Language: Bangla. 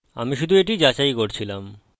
আমি শুধু এটি যাচাই করছিলাম